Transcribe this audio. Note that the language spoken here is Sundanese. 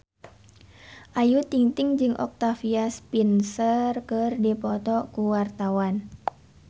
Ayu Ting-ting jeung Octavia Spencer keur dipoto ku wartawan